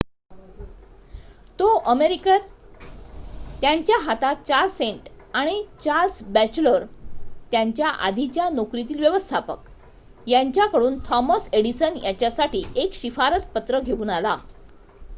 तो अमेरिकेत त्याच्या हातात 4 सेंट आणि चार्ल्स बॅचलर त्याच्या आधीच्या नोकरीतील व्यवस्थापक यांच्या कडून थॉमस एडिसन यांच्यासाठी एक शिफारसपत्र घेऊन आला